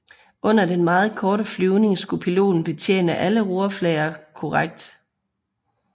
Under den meget korte flyvning skulle piloten betjene alle rorflader korrekt